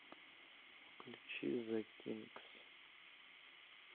включи зе кинкс